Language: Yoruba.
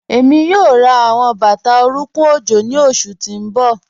Ẹmi yoo rá awọn bata orúnkùn ojó ni oṣù tí n bọ.